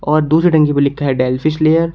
और दूसरे टंकी पर लिखा है डेलफिश लेयर ।